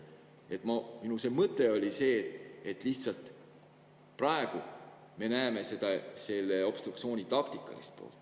Minu mõte oli see, et lihtsalt praegu me näeme selle obstruktsiooni taktikalist poolt.